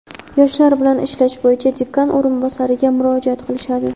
yoshlar bilan ishlash bo‘yicha dekan o‘rinbosariga murojaat qilishadi.